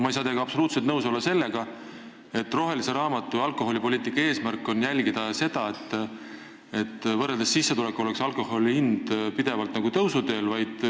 Ma ei saa teiega absoluutselt nõus olla selles, nagu alkoholipoliitika rohelise raamatu eesmärk oleks jälgida seda, et võrreldes sissetulekutega oleks alkoholi hind pidevalt tõusuteel.